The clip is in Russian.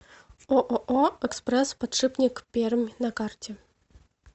ооо экспресс подшипник пермь на карте